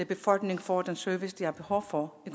befolkningen får den service de har behov for i